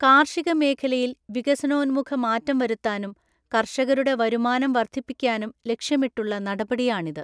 കാര്ഷിക മേഖലയില് വികസനോാന്മുഖ മാറ്റം വരുത്താനും കര്ഷകരുടെ വരുമാനം വര്ദ്ധിപ്പിക്കാനും ലക്ഷ്യമിട്ടുള്ള നടപടിയാണിത്.